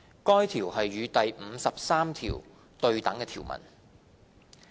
該條是與第53條對等的條文。